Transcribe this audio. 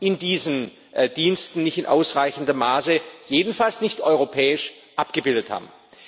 in diesen Diensten nicht in ausreichendem Maße, jedenfalls nicht europäisch, abgebildet haben.